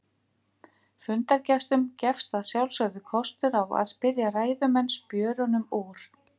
Fundargestum gefst að sjálfsögðu kostur á að spyrja ræðumenn spjörunum úr.